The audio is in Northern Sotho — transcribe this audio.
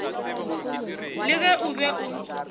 le ge o be o